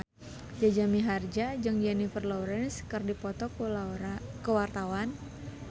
Jaja Mihardja jeung Jennifer Lawrence keur dipoto ku wartawan